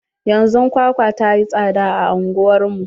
Yanzun kwakwa ta yi tsada a anguwar mu.